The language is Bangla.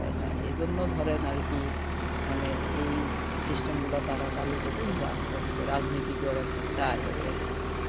এ জন্যে ধরেন আরকি মানে এই system গুলা তারা চালু করছে আস্তে আস্তে রাজনীতি করার একটা চাল আরকি